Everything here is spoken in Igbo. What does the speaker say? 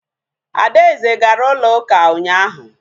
Adaeze gara ụlọ ụka ụnyaahụ